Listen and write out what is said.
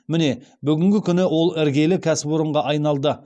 міне бүгінгі күні ол іргелі кәсіпорынға айналды